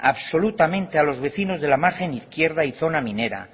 absolutamente a los vecinos de la margen izquierda y zona minera